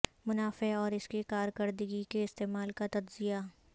منافع اور اس کی کارکردگی کے استعمال کا تجزیہ